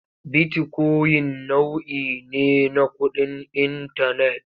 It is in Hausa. Bitikoyin nau'i ne na kuɗin intanet.